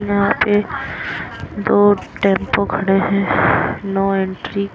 यहाँ पे दो टेंपो खड़े हैं नो एंट्री --